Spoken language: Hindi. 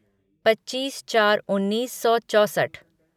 पच्चीस चार उन्नीस सौ चौसठ